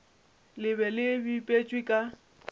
le be le bipetšwe ka